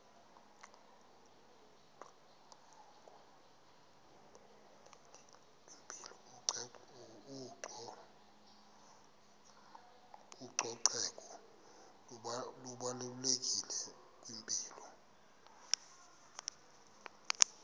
ucoceko lubalulekile kwimpilo